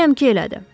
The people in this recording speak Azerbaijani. Əminəm ki, elədir.